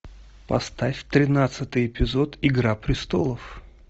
поставь тринадцатый эпизод игра престолов